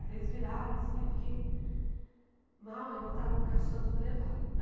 Aí eles viraram assim, eu fiquei mal, aí botaram no caixão tudo e levaram.